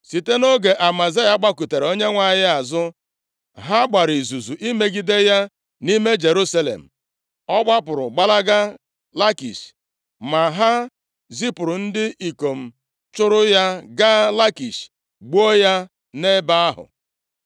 Site nʼoge Amazaya gbakụtara Onyenwe anyị azụ, ha gbara izuzu imegide ya nʼime Jerusalem. Ọ gbapụrụ gbalaga Lakish, ma ha zipụrụ ndị ikom chụụrụ ya gaa Lakish, gbuo ya nʼebe ahụ.